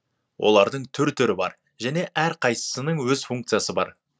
олардың түр түрі бар және әрқайсысының өз функциясы бар